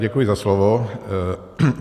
Děkuji za slovo.